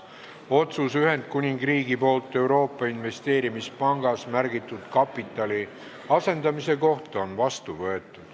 Otsus "Ühendkuningriigi poolt Euroopa Investeerimispangas märgitud kapitali asendamine" on vastu võetud.